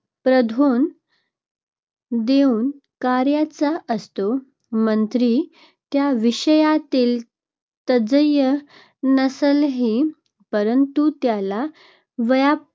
प्राधान्य देऊन करायचा असतो. मंत्री त्या विषयातील तज्ज्ञ नसेलही परंतु त्याला व्यापक